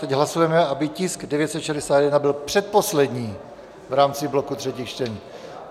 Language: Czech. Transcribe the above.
Teď hlasujeme, aby tisk 961 byl předposlední v rámci bloku třetích čtení